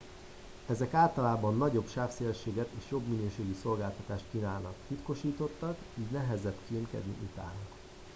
ezek általában nagyobb sávszélességet és jobb minőségű szolgáltatást kínálnak titkosítottak így nehezebb kémkedni utánuk